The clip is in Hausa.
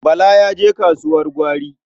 Bala ya je kasuwar gwari.